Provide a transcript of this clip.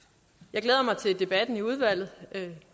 jeg glæder mig til debatten i udvalget